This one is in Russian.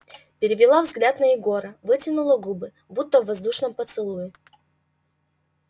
перевела взгляд на егора вытянула губы будто в воздушном поцелуе